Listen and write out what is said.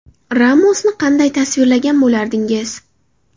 Ramosni qanday tasvirlagan bo‘lardingiz?